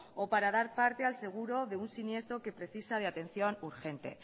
o para dar parte al seguro de un siniestro que precisa de atención urgente